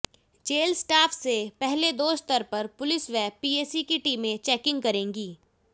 jail staff से पहले दो स्तर पर पुलिस व पीएसी की टीमें चेकिंग करेंगी